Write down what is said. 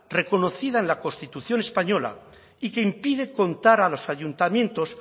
reconocida en la constitución española y que impide contar a los ayuntamientos